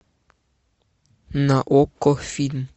на окко фильм